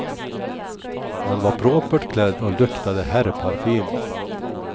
Han var propert klädd och luktade herrparfym.